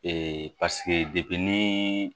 Ee paseke ni